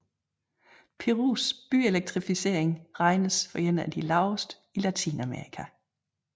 Perus byelektrificering regnes for en af de laveste i Latinamerika